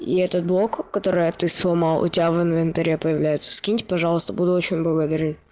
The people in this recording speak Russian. и этот блок которая ты сломал у тебя в инвентаре появляется скиньте пожалуйста буду очень благодарен